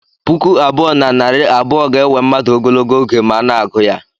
Puku abụọ na narị abụọ ga-ewe mmadụ ogologo oge ma a na-agụ ya